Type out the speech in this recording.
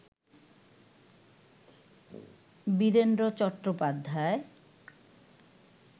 Virender Chattopadhyay